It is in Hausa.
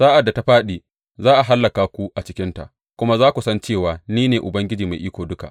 Sa’ad da ta fāɗi, za a hallaka ku a cikinta; kuma za ku san cewa ni ne Ubangiji Mai Iko Duka.